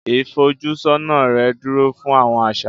Ifojusona rè dúró fún Awọn aṣa